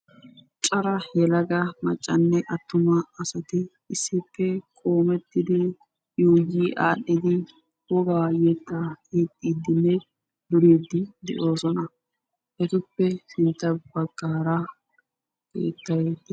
cora yelaga maccane attuma assati qoomettidi ziiriyani wogaa yetta yexidine duridi de"oosona ettape ya bagara keettaykka beettessi.